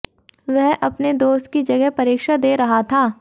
वह अपने दोस्त की जगह परीक्षा दे रहा था